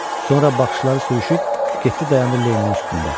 Sonra baxışları sürüşüb, getdi dayandı Lenninin üstündə.